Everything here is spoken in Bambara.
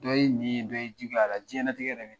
Dɔ ye ɲi ye dɔ ye juguye a la diɲɛnatigɛ dɛ yɛrɛ